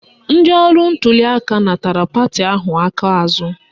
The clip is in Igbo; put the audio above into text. Ndị ọrụ ntuliaka natara pati ahụ aka azụ